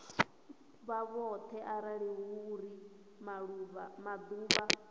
vhoṱhe arali hu uri maḓuvha